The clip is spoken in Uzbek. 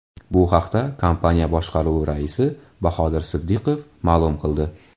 Bu haqda kompaniya boshqaruvi raisi Bahodir Siddiqov ma’lum qildi .